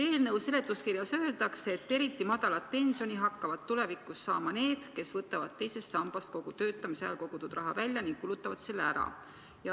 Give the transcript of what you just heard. Eelnõu seletuskirjas öeldakse, et eriti väikest pensioni hakkavad tulevikus saama need, kes võtavad teisest sambast kogu töötamise ajal kogutud raha välja ning kulutavad selle ära.